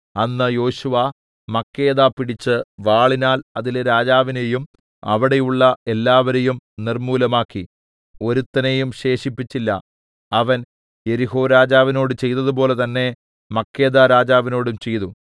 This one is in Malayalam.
അന്ന് യോശുവ മക്കേദ പിടിച്ച് വാളിനാൽ അതിലെ രാജാവിനെയും അവിടെയുള്ള എല്ലാവരെയും നിർമ്മൂലമാക്കി ഒരുത്തനെയും ശേഷിപ്പിച്ചില്ല അവൻ യെരിഹോരാജാവിനോട് ചെയ്തതുപോലെ തന്നേ മക്കേദാരാജാവിനോടും ചെയ്തു